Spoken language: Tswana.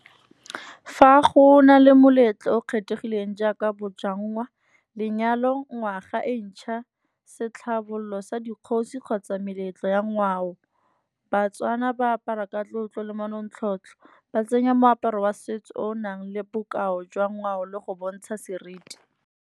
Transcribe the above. Fa go na le moletlo o kgethegileng jaaka bojangwa, lenyalo, ngwaga e ntšha, se tlhabololo sa dikgosi kgotsa meletlo ya ngwao. Batswana ba apara ka tlotlo le manontlhotlho, ba tsenya moaparo wa setso o nang le bokao jwa ngwao le go bontsha seriti.